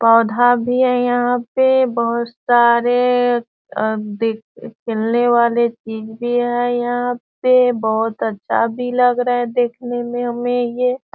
पौधा भी है यहाँ पे बहुत सारे अ दे खेलने वाले चीज भी है यहाँ पे बहुत अच्छा भी लग रहा है देखने में यहाँ पे